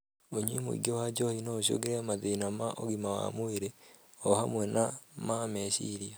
ũnyui mũingĩ wa njohi no ũcũngĩrĩrie mathina ma ũgima wa mwĩrĩ o,hamwe na ma meciiria